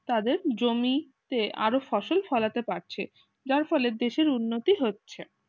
তাদের জমিতে আরো ফসল ফলাতে পারছে যার ফলে দেশের উন্নতি হচ্ছে